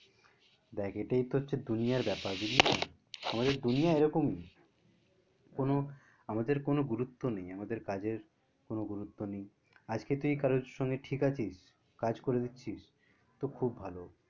দেখ এইটাই তো হচ্ছে দুনিয়ার ব্যাপার আমাদের দুনিয়া এরকমই কোনো আমাদের কোনো গুরুত্ব নেই আমাদের কাজের কোনো গুরুত্ব নেই, আজকে তুই কারোর সঙ্গে ঠিক আছিস কাজ করে দিচ্ছিস তো খুব ভালো